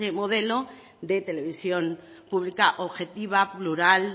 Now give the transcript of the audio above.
modelo de televisión pública objetiva plural